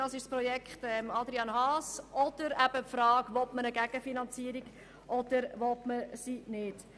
Das ist das Projekt Haas oder eben die Frage, ob man eine Gegenfinanzierung will oder nicht.